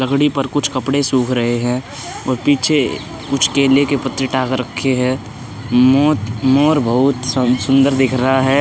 लकड़ी पर कुछ कपड़े सुख रहे हैं और पीछे कुछ केले के पत्ते टांग रखे हैं। मोत मोर बहोत सुन सुन्दर दिख रहा है।